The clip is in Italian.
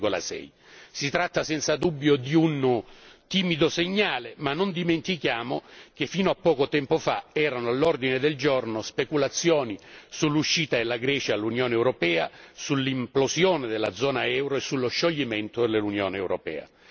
0,6. Si tratta senza dubbio di un timido segnale ma non dimentichiamo che fino a poco tempo fa erano all'ordine del giorno speculazioni sull'uscita della Grecia dall'Unione europea, sull'implosione della zona euro e sullo scioglimento dell'Unione europea.